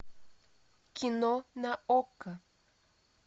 кино на окко